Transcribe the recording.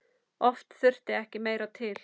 Oft þurfti ekki meira til.